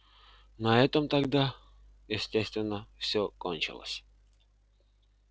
на этом тогда естественно всё кончилось